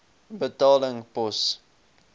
betaling pos